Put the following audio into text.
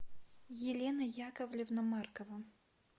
елена яковлевна маркова